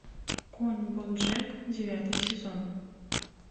конь боджек девятый сезон